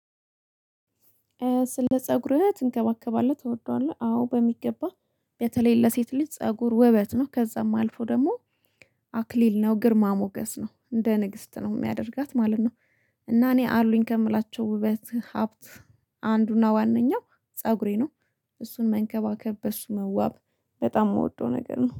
ስለ ፀጉርህ ትንገባገባለህ ትወደዋለህ? አዎ በሚገባ። በተለይ ለሴት ልጅ ፀጉር ውበት ነው ከዛም አልፎ ደግሞ አክሊል ነው ግርማ ሞገስ ነው እንደ ንግስት ነው የሚያደርጋት ማለት ነው። እና እኔ አሉኝ ከምላቸው ውበት ሀብት አንዱና ዋናው ፀጉሬ ነው። እሱን መንከባከብ በሱ መዋብ በጣም የምወደው ነገር ነው